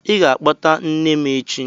Ị ga-akpọta nne m echi!